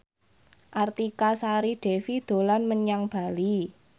Artika Sari Devi dolan menyang Bali